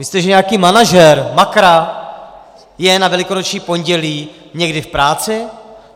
Myslíte, že nějaký manažer Makra je na Velikonoční pondělí někdy v práci?